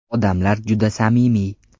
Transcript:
Odamlari juda samimiy.